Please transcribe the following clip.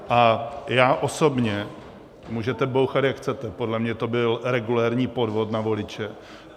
A já osobně -- můžete bouchat, jak chcete, podle mě to byl regulérní podvod na voliče.